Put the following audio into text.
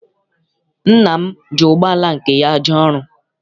Nna m ji ụgbọala nke ya jee ọrụ.